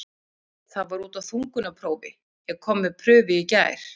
Það var út af þungunarprófi, ég kom með prufu í gær.